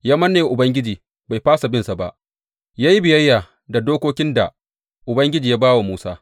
Ya manne wa Ubangiji, bai fasa binsa ba; ya yi biyayya da dokokin da Ubangiji ya ba wa Musa.